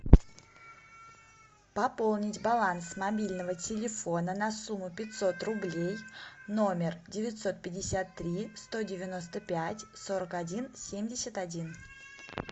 пополнить баланс мобильного телефона на сумму пятьсот рублей номер девятьсот пятьдесят три сто девяносто пять сорок один семьдесят один